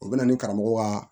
O bɛ na ni karamɔgɔ kaa